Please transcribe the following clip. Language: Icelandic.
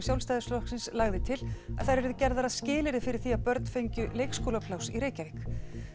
Sjálfstæðisflokksins lagði til að þær yrðu gerðar að skilyrði fyrir því að börn fengju leikskólapláss í Reykjavík